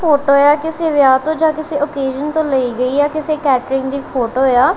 Photo ਆ ਕਿਸੇ ਵਿਆਹ ਤੋਂ ਜਾਂ ਕਿਸੇ ਓਕੇਸ਼ਨ ਤੋਂ ਲਈ ਗਈ ਆ ਕਿਸੇ ਕੈਟਰਿੰਗ ਦੀ ਫੋਟੋ ਆ।